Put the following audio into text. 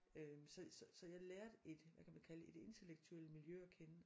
Øh så så jeg lærte et hvad kan man kalde det et intellektuelt miljø at kende